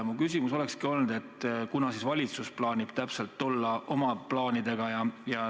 Mu küsimus olekski olnud, kunas siis valitsus kavatseb välja tulla oma plaanidega.